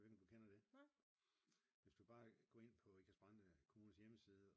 Jeg ved ikke om du kender det? Hvis du bare går ind på Ikast-Brande kommunes hjemmeside